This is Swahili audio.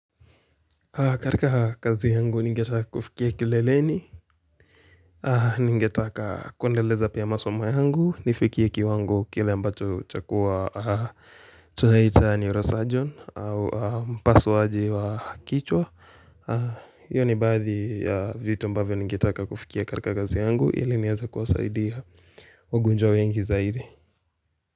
Katika kazi yangu ningetaka kufikia kileleni, ningetaka kuendeleza pia masomo yangu, nifikie kiwango kile ambacho chakua tunaita neurosurgeon au mpasuaji wa kichwa. Hiyo ni baadhi ya vitu ambavyo ningetaka kufikia karika kazi yangu, ili niweze kuwasaidia wagonjwa wengi zaidi.